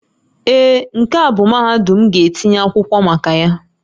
Ee, nke a bụ mahadum m ga-etinye akwụkwọ maka ya